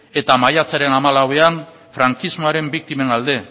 eta maiatzaren hamalauean frankismoaren biktimen alde